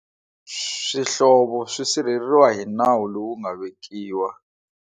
Swihlovo swi sirheleriwa hi nawu lowu nga vekiwa.